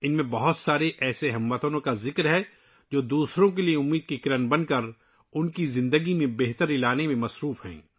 ان میں بہت سارے ایسے ہم وطنوں کا ذکر ہے ، جو دوسروں کے لیے امید کی کرن بن کر ، ان کی زندگیوں میں بہتری لانے میں مصروف ہیں